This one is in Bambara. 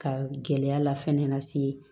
Ka gɛlɛya la fɛnɛ na se